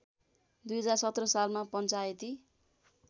२०१७ सालमा पञ्चायती